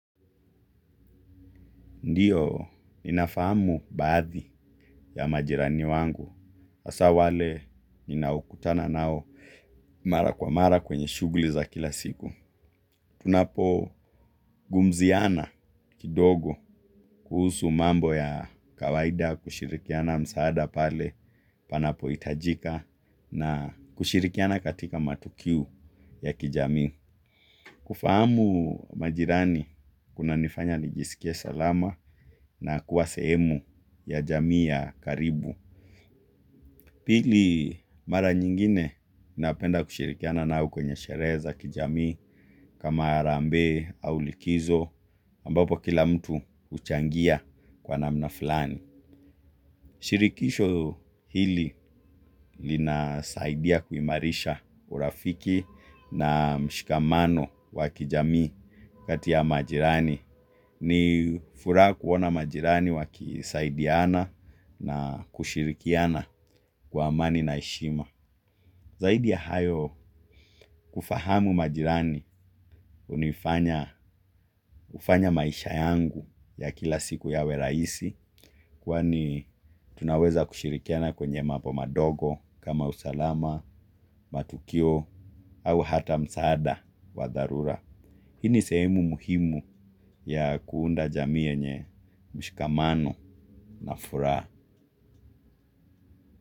Ndiyo, ninafahamu baadhi ya majirani wangu. Hasaa wale ninao kutana nao mara kwa mara kwenye shugli za kila siku. Tunapo gumziana kidogo kuhusu mambo ya kawaida kushirikiana msaada pale panapo itajika na kushirikiana katika matukiu ya kijamii. Kufahamu majirani kuna nifanya nijisikie salama na kuwa seemu ya jamii ya karibu. Pili mara nyingine napenda kushirikiana nao kwenye shere za kijamii kama arambe au likizo ambapo kila mtu uchangia kwa namna fulani. Shirikisho hili linasaidia kuimarisha urafiki na mshikamano wa kijami kati ya majirani. Ni furaa kuona majirani wakisaidiana na kushirikiana kwa amani na heshima. Zaidi ya hayo kufahamu majirani, unifanya maisha yangu ya kila siku yawe raisi, kwani tunaweza kushirikiana kwenye mapo madogo kama usalama, matukio, au hata msaada wa dharura. Hii ni seemu muhimu ya kuunda jamii yenye mshikamano na furaa.